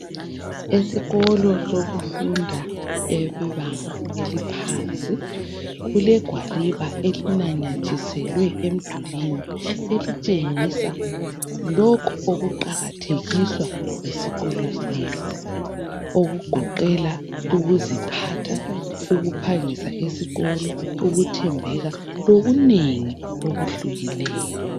Esikolo sokufunda esebanga eliphansi kulegwaliba elinamatheliswe emdulwini elitshengisa lokho ukuqakathekiswa yisikolo lesi, okugoqela ukuziphatha ukuphangisa esikolo ukuthembeka lokunengi okuhlukeneyo.